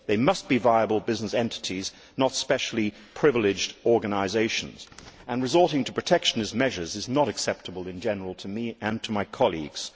They must be viable business entities, not specially privileged organisations, and resorting to protectionist measures is not acceptable in general to me and to my colleagues.